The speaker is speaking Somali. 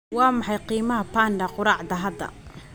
Waa maxay qiimaha panda qoraxda hadda?